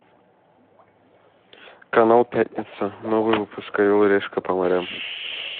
канал пятница новый выпуск орел и решка по морям